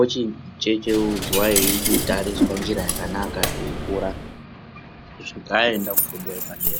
ochichenjeudzwa eichitariswa njira yakanaka eikura kusvika aenda kufundo yepadera.